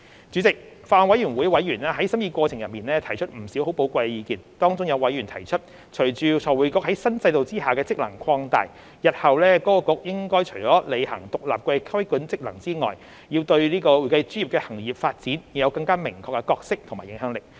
主席，法案委員會委員在審議過程中提出不少寶貴意見，當中有委員提出，隨着財匯局在新制度下的職能擴大，日後該局除了履行獨立的規管職能外，對會計專業的行業發展應有更明確的角色及影響力。